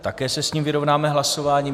Také se s ním vyrovnáme hlasováním.